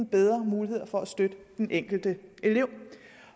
bedre muligheder for at støtte den enkelte elev